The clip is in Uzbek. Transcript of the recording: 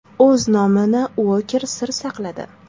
O‘z nomini Uoker sir saqladi.